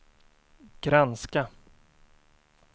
granska